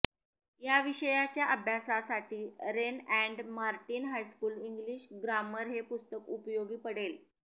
या विषयाच्या अभ्यासासाठी Wren and Martin high school English grammar हे पुस्तक उपयोगी पडेल